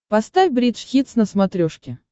поставь бридж хитс на смотрешке